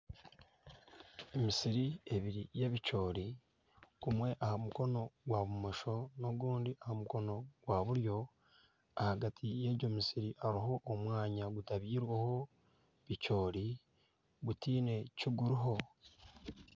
Emisi ebiri y'ebicoori gumwe aha mukono gwa bumosho n'ogundi aha omukono gwa buryo. Ahagati y'egyo misiri hariho omwanya gutabwirweho bicoori gutiine kiriho.